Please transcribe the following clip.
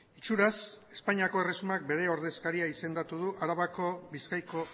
itxuraz espainiako erresumak bere ordezkaria izendatu du arabako bizkaiko